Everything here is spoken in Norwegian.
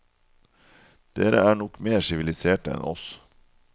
Dere er nok mer siviliserte enn oss.